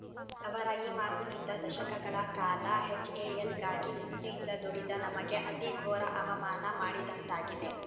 ಅವರ ಈ ಮಾತಿನಿಂದ ದಶಕಗಳ ಕಾಲ ಎಚ್‌ಎಎಲ್‌ಗಾಗಿ ನಿಷ್ಠೆಯಿಂದ ದುಡಿದ ನಮಗೆ ಅತಿ ಘೋರ ಅವಮಾನ ಮಾಡಿದಂತಾಗಿದೆ